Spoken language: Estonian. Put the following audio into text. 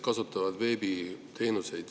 Lugupeetud minister!